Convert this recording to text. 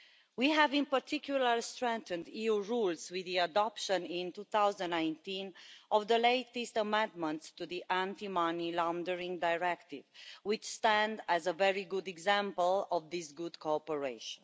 We have in particular strengthened EU rules with the adoption in 2019 of the latest amendments to the Anti Money Laundering Directive, which stands as a very good example of this good cooperation.